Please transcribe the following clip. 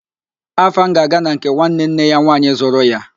Afam ga-aga na nke nwanne nne ya nwaanyị zụrụ ya